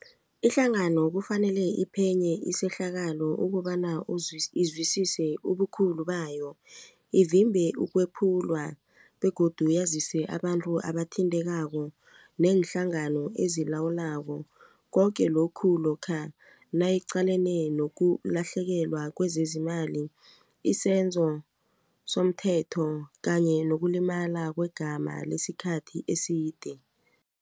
Ihlangano kufanele iphenye isehlakalo ukobana izwisise ubukhulu bayo ivimbe ukwephulwa begodu yazise abantu abathintekako neenhlangano ezilawulako koke lokhu lokha nayiqalene nokulahlekelwa kwezezimali isenzo somthetho kanye nokulimala kwegama lesikhathi eside.